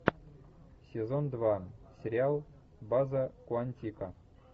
сезон два сериал база куантико